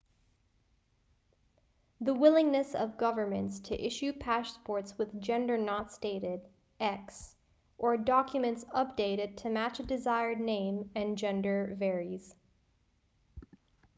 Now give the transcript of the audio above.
the willingness of governments to issue passports with gender not stated x or documents updated to match a desired name and gender varies